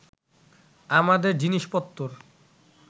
আমাদের জিনিষপত্তর